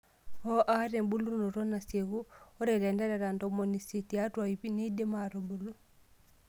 Oo ata embulunoto nasiekuu (ore ilanterera ntomoni isiet tiatwa iip neidim atubulu).